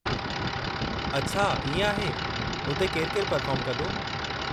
अछा इएं आहे, हुते केरु केरु पर्फ़ोर्म कंदो?